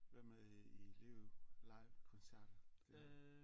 Hvad med i live livekoncerter det